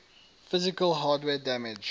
physical hardware damage